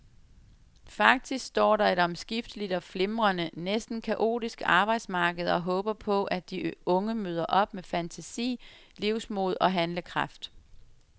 Faktisk står der et omskifteligt og flimrende, næsten kaotisk arbejdsmarked og håber på, at de unge møder op med fantasi, livsmod og handlekraft.